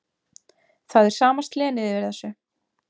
Það er sama slenið yfir þessu.